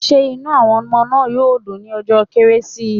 Will the children be happy on Christmas day?